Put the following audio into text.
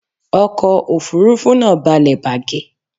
Ọkọ òfúrufú náà balẹ̀ bàgẹ̀